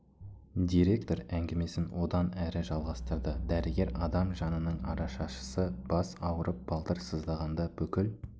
директор әңгімесін одан әрі жалғастырды дәрігер адам жанының арашашысы бас ауырып балтыр сыздағанда бүкіл